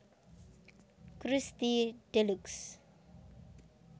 Krusty Deluxe